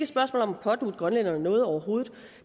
spørgsmål om at pådutte grønlænderne noget overhovedet